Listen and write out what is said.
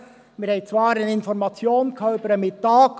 Zwar erhielten wir Informationen über Mittag.